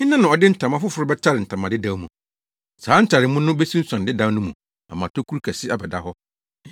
“Hena na ɔde ntama foforo bɛtare ntama dedaw mu? Saa ntaremu no besunsuan dedaw no mu ama tokuru kɛse abɛda hɔ.